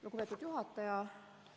Lugupeetud juhataja!